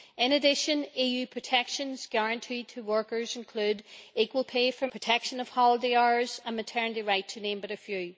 In addition EU protections guaranteed to workers include equal pay for men and women, protection of holiday hours and maternity rights to name but a few.